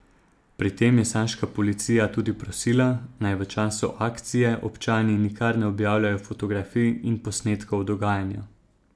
Pri tem je saška policija tudi prosila, naj v času akcije občani nikar ne objavljajo fotografij in posnetkov dogajanja.